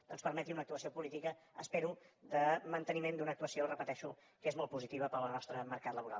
doncs permeti una actuació política espero de manteniment d’una actuació ho repeteixo que és molt positiva per al nostre mercat laboral